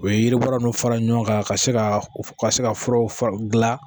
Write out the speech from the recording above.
U ye yiribɔla ninnu fara ɲɔgɔn kan ka se ka se ka furaw f gilan